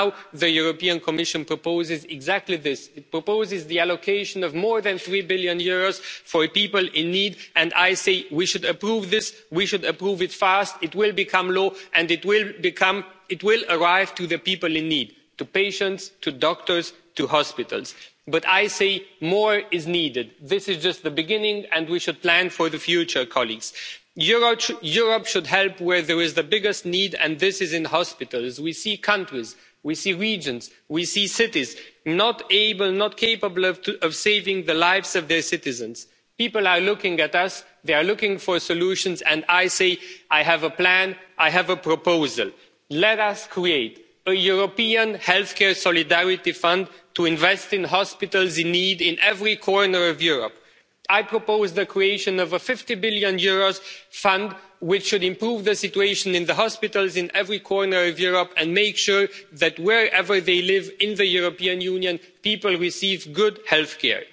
And now the Commission is proposing exactly that. It proposes allocating more than EUR 3 billion to people in need and I think we should approve this. And we should approve it quickly. It will become law and it will reach those in need patients, doctors, hospitals. But I say more is needed. This is just the beginning and we should plan for the future. Europe should help where there is the biggest need and this is in hospitals. We see countries, we see regions, we see cities not capable of saving the lives of their citizens. People are looking at us. They are looking for solutions and I say I have a plan, I have a proposal. Let us create a European healthcare solidarity fund to invest in hospitals in need in every corner of Europe. I propose the creation of a EUR 50 billion fund which should improve the situation in hospitals in every corner of Europe and make sure that wherever people live in the European Union, they receive good